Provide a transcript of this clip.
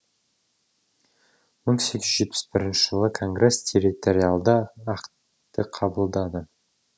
мың сегіз жүз жетпіс бірінші жылы конгресс территориалды актты қабылдады